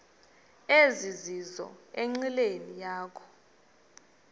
ezizizo enqileni yakho